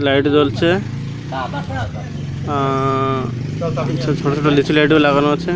Light জ্বলছে আ আ আ ছোটো ছোটো লিটিল লাইট -ও লাগানো আছে।